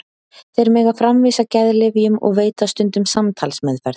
Þeir mega framvísa geðlyfjum og veita stundum samtalsmeðferð.